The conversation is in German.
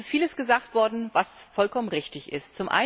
Es ist vieles gesagt worden, was vollkommen richtig ist.